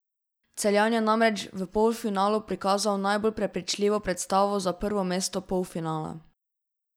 Celjan je namreč v polfinalu prikazal najbolj prepričljivo predstavo za prvo mesto polfinala.